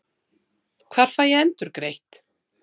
Hvar fæ ég endurgreitt?